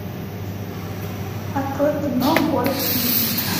открой кино город хищниц